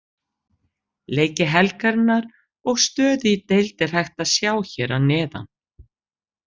Leiki helgarinnar og stöðu í deild er hægt að sjá hér að neðan.